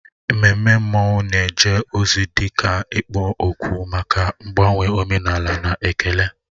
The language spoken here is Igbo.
Ememme mmanwụ na-eje ozi dị ka ikpo okwu maka mgbanwe omenala na ekele.